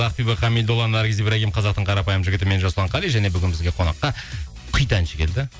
ақбибі хамидолла наргиз ибрагим қазақтың қарапайым жігіті мен жасұлан қали және бүгін бізге қонаққа хит әнші келді